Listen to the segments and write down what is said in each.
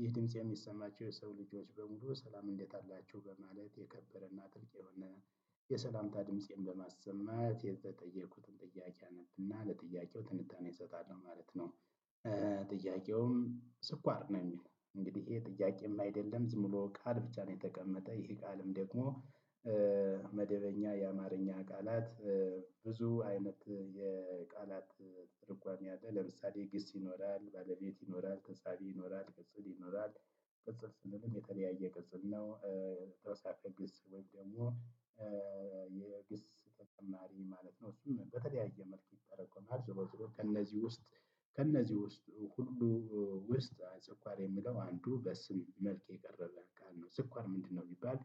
ይህ ድምጽ የሚሰማቸው የሰው ልጆች በሙሉ ሰላም እንዴት አላችሁ በማለት የከበረና ጥልቅ የሆነ የሰላምታ ድምፄን በማሰማት የተጠየኩትን ጥያቄ አነብና ለጥያቄው ትንታኔ እሰጣለሁ ማለት ነው። ጥያቄውም ስኳር ነው የሚለው እንግዲህ ይሄ ጥያቄም አይደለም ዝም ብሎ ቃል ብቻ ነው የተቀመጠ ይሄ ቃልም ደግሞ። መደበኛ የአማርኛ ቃላት። ብዙ አይነት የቃላት ትርጓሜ አለ። ለምሳሌ ግስ ይኖራል ባለቤት ይኖራል ተሳቢ ይኖራል ቅጽል ይኖራል። ቅጽል ስምም የተለያየ ቅጽል ነው። ተውሳከ ግስ ወይም ደግሞ የግስ ተጨማሪ ማለት ነው እሱም በተለያየ መልኩ ይተረጎማል። ዘወትሮ ከእነዚህ ውስጥ ከእነዚህ ውስጥ ሁሉ። ውስጥ ስኳር የሚለው አንዱ በስም መልክ የቀረበ ቃል ነው። ስኳር ምንድነው ቢባል?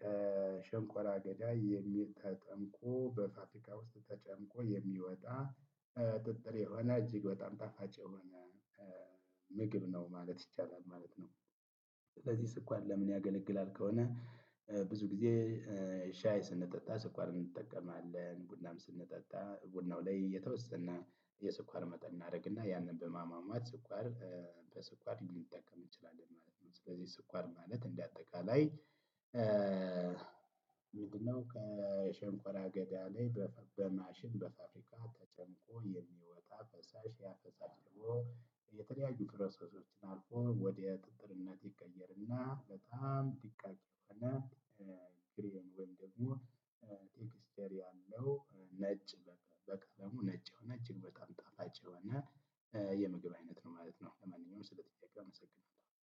ከሸንቆራ አገዳ ተጠምቆ በፋብሪካ ውስጥ ተጨምቆ የሚወጣ ጥጥር የሆነ እጅግ በጣም ጣፋጭ የሆነ ምግብ ነው ማለት ይቻላል ማለት ነው። ስለዚህ ስኩአር ለምን ያገለግላል ከሆነ? ብዙ ግዜ ሻይ ስንጠጣ ሰኳር እንጠቀማለን ቡናም ስንጠጣ ቡናው ላይ የተወሰነ የስኳር መጠን እናደርግና ያንን በማሟሟት ስኳር በስኳር ልንጠቀም እንችላለን ማለት ነው። ስለዚህ ስኳር ማለት እንደ አጠቃላይ ምንድነው? ከሸንኮራ አገዳ ላይ በማሽን በፋብሪካ ተጨምቆ የሚወጣ ፈሳሽ ያ ፈሳሽ ደግሞ የተለያዩ ፕሮሰሶችን አልፎ ወደ ጥጥርነት ይቀየርና በጣም ድቃቅ የሆነ ግሬን ወይም ደግሞ ቴክስቸር ያለው ነጭ በቃ በቃ ደግሞ ነጭ የሆነ እጅግ በጣም ጣፋጭ የሆነ የምግብ አይነት ነው ማለት ነው። ለማንኛውም ስለጥያቄ አመሰግናለሁ